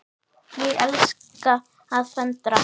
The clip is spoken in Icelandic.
Ég elska að föndra.